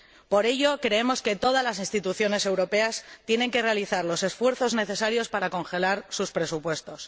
Por ello, creemos que todas las instituciones europeas tienen que realizar los esfuerzos necesarios para congelar sus presupuestos.